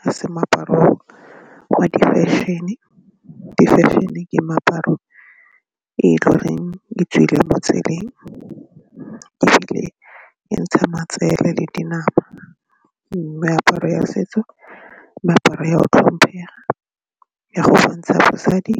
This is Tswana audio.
ga se moaparo wa di-fashion-e, di-fashion-e ke meaparo e le goreng e tswileng mo tseleng ebile e ntshang matsele le dinama mme meaparo ya setso le meaparo ya go tlhomphega e a go bontsha basadi .